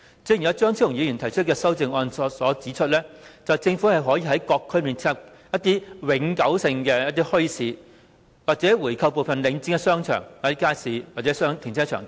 正如張超雄議員提出的修正案指出，政府可以在各區設立一些永久墟市或購回部分領展的商場、街市、停車場等。